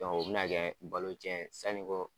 o bi na kɛ balo cɛn ye, sanni ko kɛ